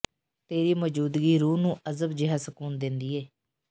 ਤੇਰੀ ਮੌਜੂਦਗੀ ਰੂਹ ਨੂੰ ਅਜਬ ਜੇਹਾ ਸਕੂਨ ਦਿੰਦੀ ਏ